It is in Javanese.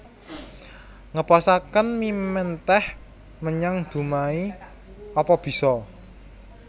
Ngeposake mie menteh menyang Dumai apa biso